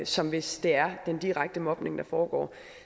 som hvis det er den direkte mobning der foregår